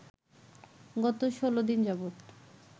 গত ১৬ দিন যাবত